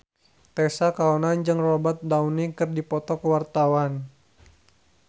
Tessa Kaunang jeung Robert Downey keur dipoto ku wartawan